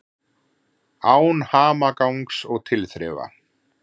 Án hamagangs og tilþrifa.